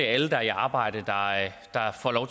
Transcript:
alle der er i arbejde